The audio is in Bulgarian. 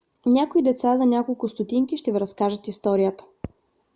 някои деца за няколко стотинки ще ви разкажат историята